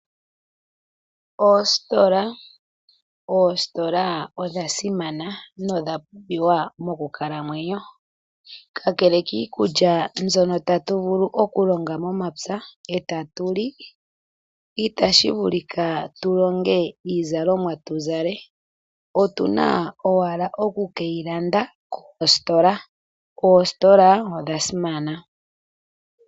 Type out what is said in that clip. Oositola, Oositola odha simana nodha pumbiwa mokukalamwenyo, kakele kiikulya mbyono tatu vulu okulonga momapya e tatu li, itashi vulika tu longe iizalomwa tu zale otu na owala okukeyi landa koositola. Oositola odha simana.